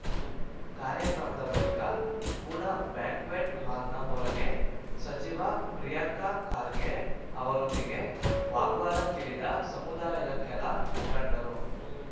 ಕಾರ್ಯಕ್ರಮದ ಬಳಿಕ ಕೂಡ ಬ್ಯಾಂಕ್ವೆಟ್‌ ಹಾಲ್‌ನ ಹೊರಗೆ ಸಚಿವ ಪ್ರಿಯಾಂಕ ಖಾರ್ಗೆ ಅವರೊಂದಿಗೆ ವಾಗ್ವಾದಕ್ಕಿಳಿದ ಸಮುದಾಯದ ಕೆಲ ಮುಖಂಡರು